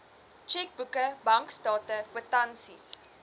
tjekboeke bankstate kwitansies